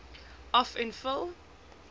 af en vul